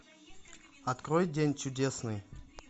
открой день чудесный